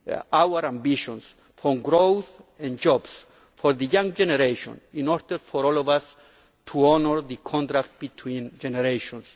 to our ambitions for growth and jobs for the young generation, in order for all of us to honour the contract between generations.